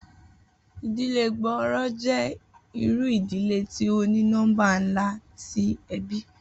Idile gbooro jẹ iru idile ti o ni nọmba nla ti ẹbi